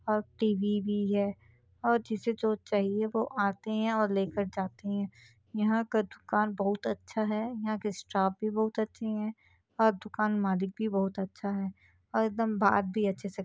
और टी_वी भी है और जिसे जो चाहिए वो आते है और लेकर जाते है यहाँ का दूकान बहुत अच्छा है यहाँ का स्टाफ भी बहुत अच्छे है और दुकान मालिक भी बहुत अच्छा है और एकदम बात भी अच्छे से --